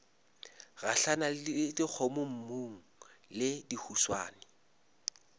gahlana le dikgomommuu le dihuswane